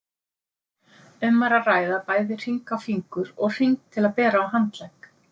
Um var að ræða bæði hring á fingur og hring til að bera á handlegg.